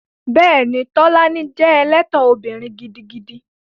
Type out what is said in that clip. Bẹ́ẹ̀ni, Tolani jẹ́ ẹlẹ́tàn obìnrin gidigidi